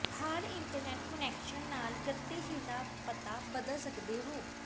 ਹਰ internet connection ਨਾਲ ਗਤੀਸ਼ੀਲ ਦਾ ਪਤਾ ਬਦਲ ਸਕਦੇ ਹੋ